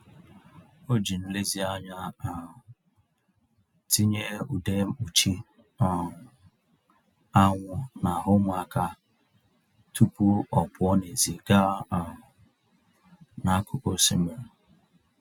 O jiri nlezianya um tinye ude mkpuchi um anwụ n'ahụ ụmụaka tupu ọ pụọ n'èzí gaa um n'akụkụ osimiri.